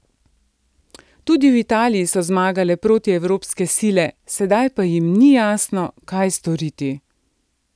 Tudi v Italiji so zmagale protievropske sile, sedaj pa jim ni jasno, kaj storiti.